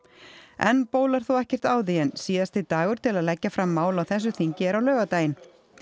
enn bólar þó ekkert á því en síðasti dagur til að leggja fram mál á þessu þingi er á laugardaginn